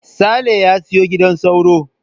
Saleh ya siyo gidan sauro.